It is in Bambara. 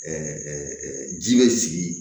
ji bɛ sigi